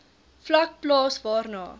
vlak plaas waarna